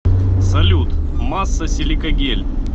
салют масса силикагель